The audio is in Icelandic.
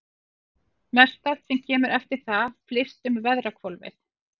Mestallt sem kemur eftir það flyst um veðrahvolfið.